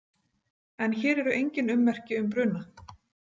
En hér eru engin ummerki um bruna